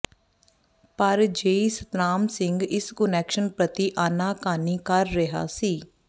ਪਰ ਜੇਈ ਸਤਨਾਮ ਸਿੰਘ ਇਸ ਕੁਨੈਕਸ਼ਨ ਪ੍ਰਤੀ ਆਨਾ ਕਾਨੀ ਕਰ ਰਿਹਾ ਸੀ